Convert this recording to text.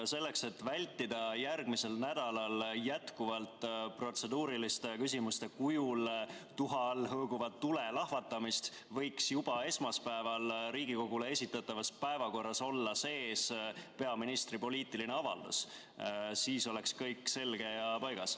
Selleks, et vältida järgmisel nädalal jätkuvalt protseduuriliste küsimuste kujul tuha all hõõguva tule lahvatamist, võiks juba esmaspäeval Riigikogule esitatavas päevakorras olla sees peaministri poliitiline avaldus – siis oleks kõik selge ja paigas.